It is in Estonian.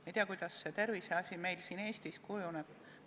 Me ei tea, kuidas see tervise asi meil siin Eestis kujuneb.